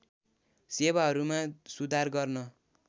सेवाहरूमा सुधार गर्न